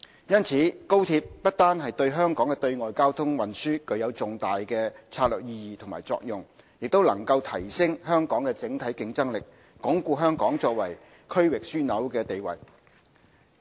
因此，高鐵不單對香港的對外交通運輸具有重大的策略意義及作用，也能提升香港的整體競爭力，鞏固香港作為區域樞紐的地位。